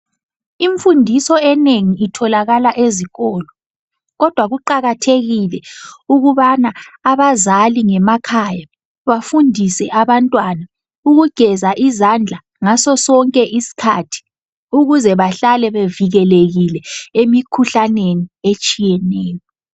Imfundiso enengi itholakala ezikolo kodwa kuqakathekile ukubana abazali ngemakhaya bafundise abantwana ukugeza izandla ngaso sonke isikhathi ukuze bahlale bevikelekile emikhuhlaneni etshiyeneyo.